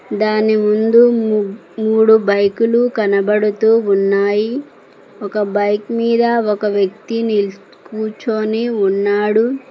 దాని ముందు మూడు బైకులు కనబడుతూ ఉన్నాయి ఒక బైక్ మీద ఒక వ్యక్తిని నిల్ కూర్చొని ఉన్నడు.